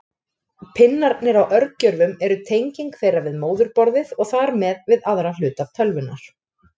Pinnarnir á örgjörvum eru tenging þeirra við móðurborðið og þar með við aðra hluta tölvunnar.